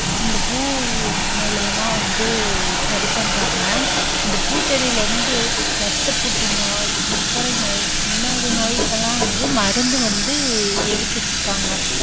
இந்த பூ மூலமா வந்து சரி பண்றாங்க. இந்த பூச்செடியில் வந்து ரத்த புற்று நோய், சர்க்கரை நோய் இந்த மாதிரி நோயெல்லாம் எல்லாம் வந்து மருந்து வந்து எடுத்துட்டு இருக்காங்க.